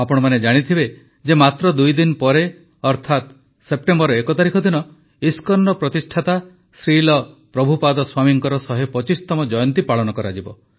ଆପଣମାନେ ଜାଣିଥିବେ ଯେ ମାତ୍ର ଦୁଇ ଦିନ ପରେ ଅର୍ଥାତ ସେପ୍ଟେମ୍ବର ୧ ତାରିଖ ଦିନ ଇସ୍କନର ପ୍ରତିଷ୍ଠାତା ଶ୍ରୀଲ୍ ପ୍ରଭୁପାଦ ସ୍ୱାମୀଙ୍କର ୧୨୫ ତମ ଜୟନ୍ତୀ ପାଳନ କରାଯିବ